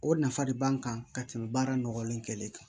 O nafa de b'an kan ka tɛmɛ baara nɔgɔlen kɛlɛli kan